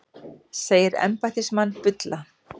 Segir embættismann bulla